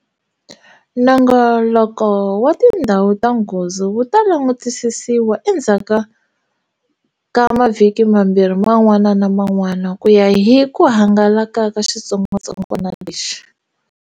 Nongoloko wa tindhawu ta nghozi wu ta langutisisiwa endzhaku ka mavhiki mambirhi man'wana na man'wana ku ya hi ku hangalaka ka xitsongwatsongwana lexi.